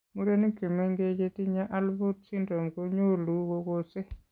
Murenik chemengech chetinye Alport syndrome ko nyolu kogose